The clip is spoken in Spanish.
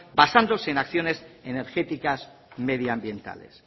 basándose en acciones energéticas medioambientales